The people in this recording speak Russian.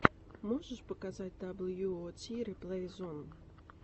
можешь показать дабл ю о ти реплей зон